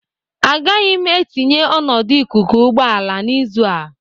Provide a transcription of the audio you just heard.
Agaghị m etinye ọnọdụ ikuku ụgbọ ala n'izu a